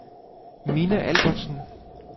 Minna Albertsen